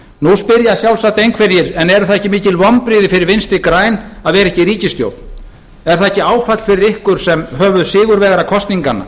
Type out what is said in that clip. nú spyrja sjálfsagt einhverjir en eru það ekki mikil vonbrigði fyrir vinstri græn að vera ekki í ríkisstjórn er það ekki áfall fyrir ykkur sem höfuðsigurvegara kosninganna